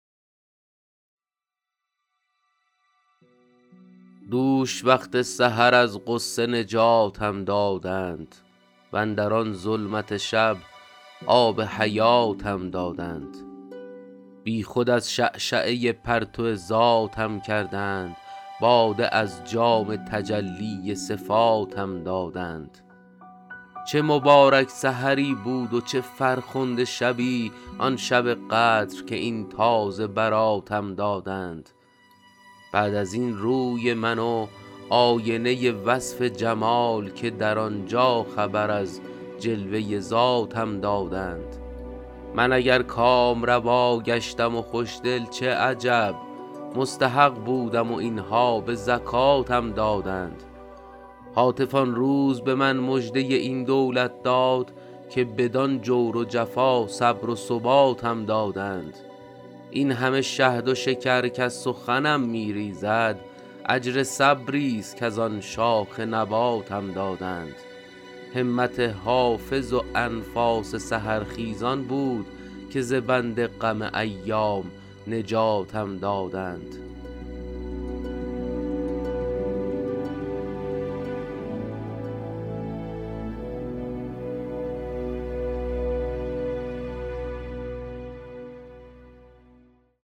دوش وقت سحر از غصه نجاتم دادند واندر آن ظلمت شب آب حیاتم دادند بی خود از شعشعه پرتو ذاتم کردند باده از جام تجلی صفاتم دادند چه مبارک سحری بود و چه فرخنده شبی آن شب قدر که این تازه براتم دادند بعد از این روی من و آینه وصف جمال که در آن جا خبر از جلوه ذاتم دادند من اگر کامروا گشتم و خوش دل چه عجب مستحق بودم و این ها به زکاتم دادند هاتف آن روز به من مژده این دولت داد که بدان جور و جفا صبر و ثباتم دادند این همه شهد و شکر کز سخنم می ریزد اجر صبری ست کز آن شاخ نباتم دادند همت حافظ و انفاس سحرخیزان بود که ز بند غم ایام نجاتم دادند